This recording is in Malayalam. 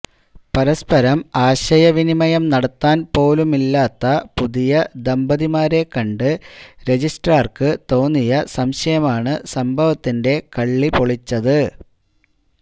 പരസ്പരം ആശയവിനിമയം നടത്താൻ പോലുമില്ലാത്ത പുതിയ ദമ്പതിമാരെക്കണ്ട് രജിസ്ട്രാർക്ക് തോന്നിയ സംശയമാണ് സംഭവത്തിന്റെ കള്ളിപൊളിച്ചത്